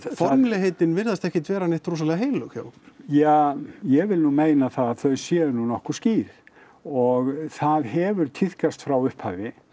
formlegheitin virðast ekkert vera neitt rosalega heilög hjá ykkur ja ég vil nú meina það að þau séu nú nokkuð skýr og það hefur tíðkast frá upphafi